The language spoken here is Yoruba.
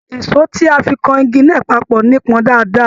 Èsó tí a fí kàn ìgi náà papọ nipọn dáadáa.